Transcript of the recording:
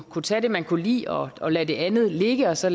kunne tage det man kunne lide og lade det andet ligge og så